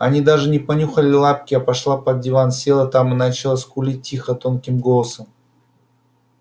она даже не понюхала лапки а пошла под диван села там и начала скулить тихо тонким голоском